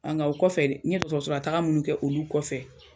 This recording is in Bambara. Nka o kɔfɛ n ye dɔkɔtɔrɔso munnu kɛ olu kɔfɛ